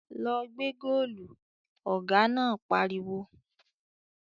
"Lọ gbẹ́ góòlù!" Ọ̀gá náà pariwo